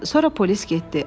Sonra polis getdi.